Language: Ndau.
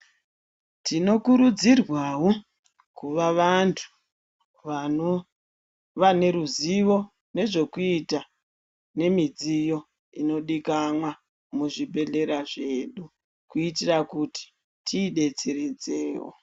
Tinokurudzirwawo kuva vantu vanova neruzivo nezvekuita nemidziyo inodikamwa muzvibhehlera zvedu kuitira kuti tiidetseredzewo.